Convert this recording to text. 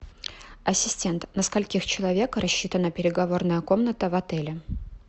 ассистент на скольких человек рассчитана переговорная комната в отеле